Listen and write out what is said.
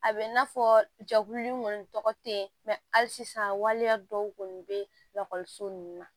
A bɛ i n'a fɔ jɛkulu in kɔni tɔgɔ tɛ ye hali sisan waleya dɔw kɔni bɛ lakɔliso nun na